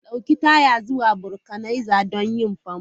Ɗauki taya zuwa vulcanizer don yin famfo!